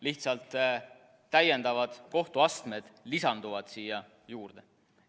Lihtsalt lisanduvad täiendavad kohtuastmed.